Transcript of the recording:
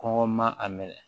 Kɔngɔ ma a minɛ